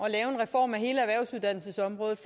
at hele erhvervsuddannelsesområdet